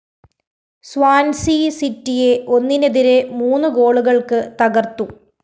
Swansea സിറ്റിയെ ഒന്നിനെതിരെ മൂന്ന് ഗോളുകള്‍ക്ക് തകര്‍ത്തു